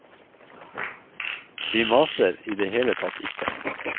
Vi maser i det hele tatt ikke.